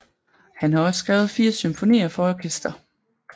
Han har også skrevet 4 symfonier for orkester